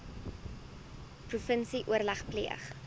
provinsie oorleg pleeg